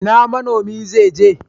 Ina manomi zaije?